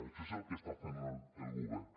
això és el que està fent el govern